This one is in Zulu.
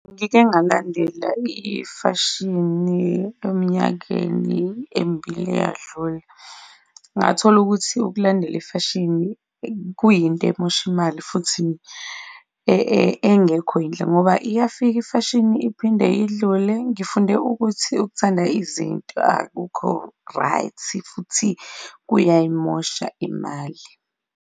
Ngike ngalandela ifashini eminyakeni emibili eyadlula, ngathola ukuthi ukulandela ifashini kuyinto emosha imali futhi engekho yinhle ngoba iyafika ifashini iphinde idlule. Ngifunde ukuthi ukuthanda izinto akukho right futhi-ke kuyayimosha imali.